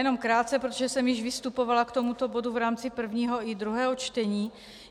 Jenom krátce, protože jsem již vystupovala k tomuto bodu v rámci prvního i druhého čtení.